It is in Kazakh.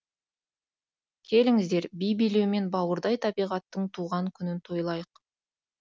келіңіздер би билеумен бауырдай табиғаттың туған күнін тойлайық